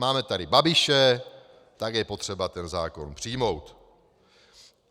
Máme tady Babiše, tak je potřeba ten zákon přijmout.